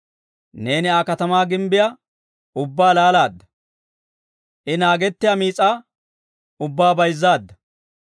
Neeni Aa katamaa gimbbiyaa ubbaa laalaadda; I naagettiyaa miis'aa ubbaa bayzzaadda.